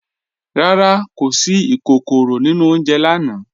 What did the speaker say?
Rárá, kò sí ìkòkòró nínu ọ̀unjẹ̀ lànà.